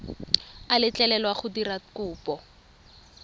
a letlelelwa go dira kopo